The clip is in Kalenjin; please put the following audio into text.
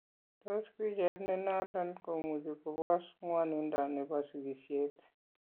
Tos picheet nenoton komuuchi kopoos kwan'indo nebo sikisyeet